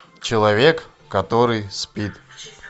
человек который спит